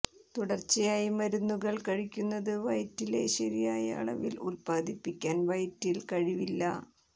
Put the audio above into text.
തുടർച്ചയായി മരുന്നുകൾ കഴിക്കുന്നത് വയറ്റിലെ ശരിയായ അളവിൽ ഉത്പാദിപ്പിക്കാൻ വയറ്റിൽ കഴിവില്ല